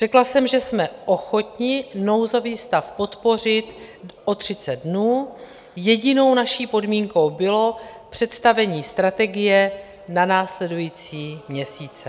Řekla jsem, že jsme ochotni nouzový stav podpořit o 30 dnů, jedinou naší podmínkou bylo představení strategie na následující měsíce.